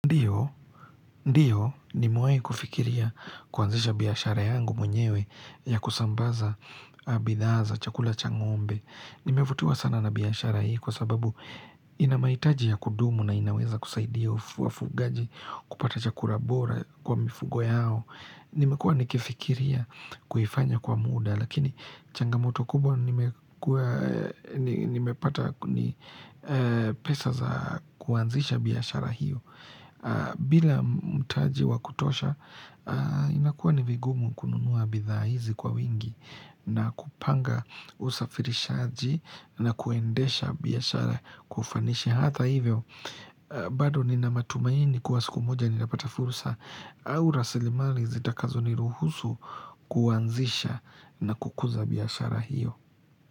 Ndiyo, ndiyo nimewai kufikiria kuanzisha biashara yangu mwenyewe ya kusambaza a bidhaa za chakula cha ng'ombe. Nimevutiwa sana na biashara hii kwa sababu ina mahitaji ya kudumu na inaweza kusaidia wafugaji kupata chakura bora kwa mifugo yao. Nimekuwa nikifikiria kuifanya kwa muda lakini changamoto kubwa nimekua nimepata ni pesa za kuanzisha biashara hiyo. Bila mtaji wa kutosha inakuwa ni vigumu kununuwa bidhaa hizi kwa wingi na kupanga usafirishaji na kuendesha biashara kwa ufanishi Hatha hivyo bado nina matumaini kuwa siku moja nilapata furusa au rasilimali zitakazo niruhusu kuwanzisha na kukuza biashara hiyo.